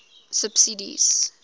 subsidies